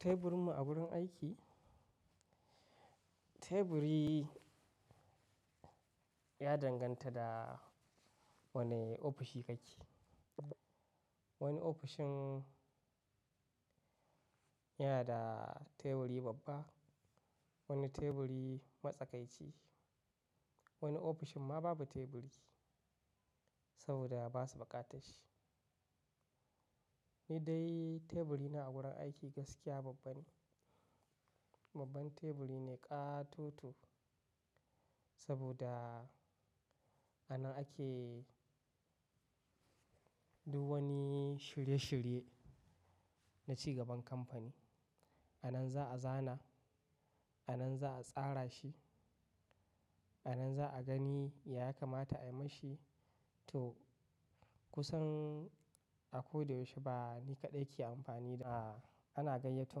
Teburinmu a wurin aiki, teburi ya danganta da wane ofishi ka ke. Wani ofishin yanada teburi babba, wani teburi matsakaici, wani ofishin ma babu teburi saboda basu buƙatarshi. Ni dai teburina a gurin aiki gaskiya babba ne, babban teburi ne ƙatoto saboda anan ake duk wani shirye shirye na cigaban kamfani. Anan za a zana, anan za a tsara shi, anan za a gani ya kamata ayi mashi to kusan a ko da yaushe ba ni kaɗai ke amfani da, ana gayyatu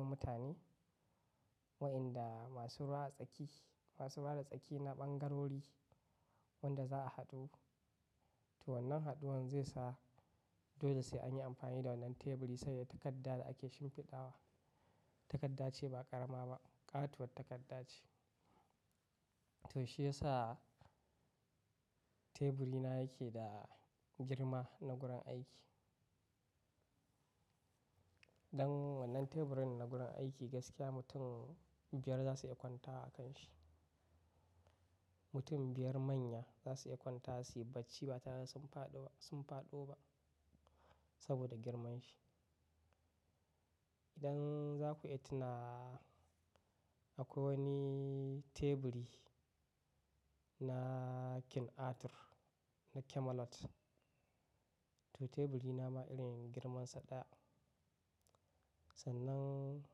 mutane waɗanda masu ruwa tsaki, masu ruwa da tsaki na ɓangarori wanda za a haɗu. To wannan haɗuwan zai sa dole sai anyi amfani da wannan teburi sabi da takarda da ake shimfiɗawa. Takarda ce ba ƙarama ba, ƙatuwar takarda ce. To shi yasa teburina yake da girma na gurin aiki. Dan wannan teburin na gurin aiki gaskiya mutum biyar zasu iya kwanta a kan shi. Mutum biyar manya zasu iya kwanta wa suyi bacci ba tare da sun faɗo, sun faɗo ba saboda girman shi. Idan za ku iya tunawa, akwai wani teburi na King Arthur na Camelot, to teburina ma irin girman su ɗaya. Sannan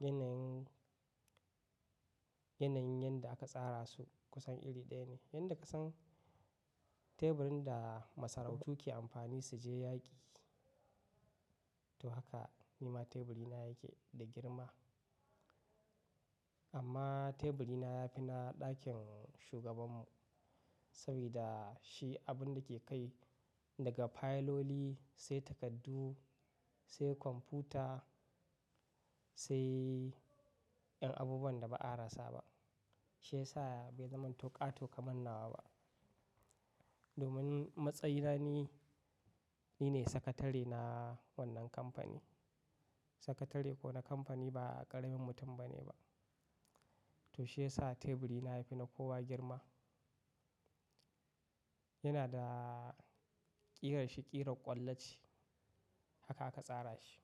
yanayin, yanayin yanda aka tsara su kusan iri ɗaya ne. Yanda ka san teburin da masarautu ke amfani su je yaƙi, to haka nima teburina yake da girma. Amma teburina ya fi na ɗakin shugabanmu sabida shi abunda ke kai daga fayiloli sai takardu sai kwamfuta sai ’yan abubuwan da ba a rasa ba. Shi yasa bai zamanto ƙato ƙaman nawa ba. Domin matsayina ni nine sakatare na wannan kamfani. Sakatare kuwa na kamfani ba ƙaramin mutum bane ba. To shi yasa teburina ya fi na kowa girma. Yana da ƙirarshi ƙirar ƙwallace, haka aka tsara shi.